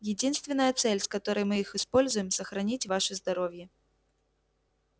единственная цель с которой мы их используем сохранить ваше здоровье